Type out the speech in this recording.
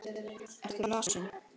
Ertu lasin?